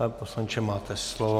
Pane poslanče, máte slovo.